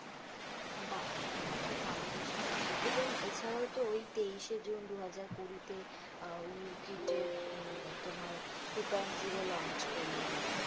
বাঃ এটা তো খুব ভালো বিষয় এবং এছাড়াও তো ওই তেইশে জুন দুহাজার কুড়িতে ইউ কি টের তোমার টূ পয়েন্ট জিরো launch করল।